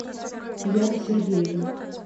яна сергеевна